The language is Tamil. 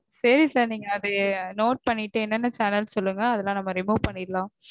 சரி sir. நீங்க அதைய note பண்ணிட்டு என்னென்ன channel னு சொல்லுங்க. அதெல்லாம் நம்ம remove பண்ணிரலாம்